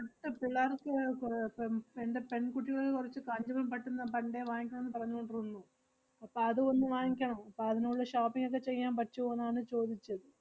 പിള്ളാർക്ക് കൊറേ പെം~ എന്‍റെ പെൺകുട്ടികൾ കൊറച്ച് കാഞ്ചീപുരം പട്ട്ന്ന് പണ്ടേ വാങ്ങിക്കണോന്ന് പറഞ്ഞോണ്ടിരുന്നു. അപ്പ~ അത് ഒന്ന് വാങ്ങിക്കണം. അപ്പ അതിന് ഉള്ള shopping ഒക്കെ ചെയ്യാൻ പറ്റുവോന്നാണ് ചോദിച്ചത്.